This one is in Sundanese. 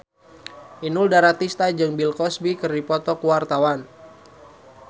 Inul Daratista jeung Bill Cosby keur dipoto ku wartawan